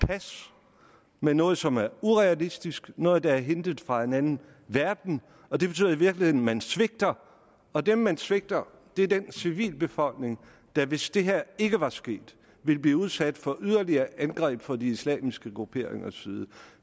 pas med noget som er urealistisk noget der er hentet fra en anden verden det betyder i virkeligheden at man svigter og dem man svigter er den civilbefolkning der hvis det her ikke var sket ville blive udsat for yderligere angreb fra de islamiske grupperingers side